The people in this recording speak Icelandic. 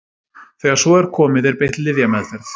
Þegar svo er komið er beitt lyfjameðferð.